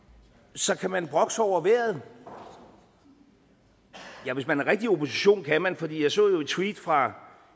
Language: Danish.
så kan man brokke sig over vejret ja hvis man er rigtig opposition kan man for jeg så jo et tweet fra